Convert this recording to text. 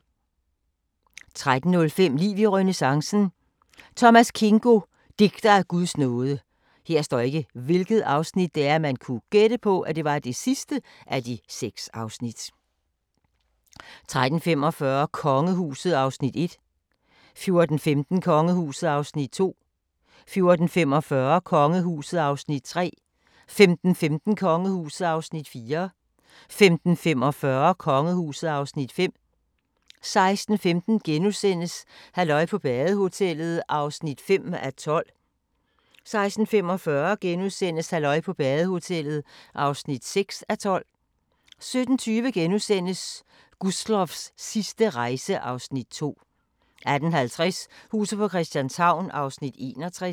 13:05: Liv i renæssancen: Thomas Kingo - digter af Guds nåde 13:45: Kongehuset (Afs. 1) 14:15: Kongehuset (Afs. 2) 14:45: Kongehuset (Afs. 3) 15:15: Kongehuset (Afs. 4) 15:45: Kongehuset (Afs. 5) 16:15: Halløj på badehotellet (5:12)* 16:45: Halløj på badehotellet (6:12)* 17:20: Gustloffs sidste rejse (Afs. 2)* 18:50: Huset på Christianshavn (61:84)